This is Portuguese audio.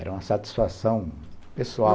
Era uma satisfação pessoal.